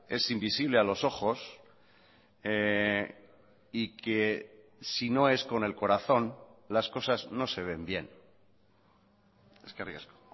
es invisible a los ojos y que si no es con el corazón las cosas no se ven bien eskerrik asko